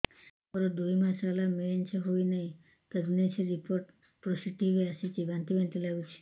ମୋର ଦୁଇ ମାସ ହେଲା ମେନ୍ସେସ ହୋଇନାହିଁ ପ୍ରେଗନେନସି ରିପୋର୍ଟ ପୋସିଟିଭ ଆସିଛି ବାନ୍ତି ବାନ୍ତି ଲଗୁଛି